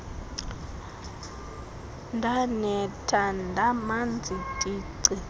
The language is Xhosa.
ndanetha ndamanzi tici